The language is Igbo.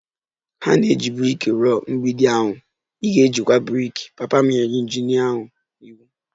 Ha na-eji brik rụọ mgbidi ahụ, ị ga-ejikwa brik! Papa m nyere injinia ahụ iwu